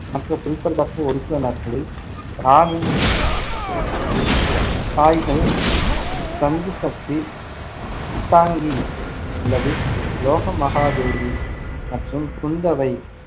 மற்ற குறிப்பிடத்தக்க உறுப்பினர்களில் ராணி தாய்கள் தந்திசக்தி விட்டாங்கி அல்லது லோகமஹாதேவி மற்றும் குந்தவை,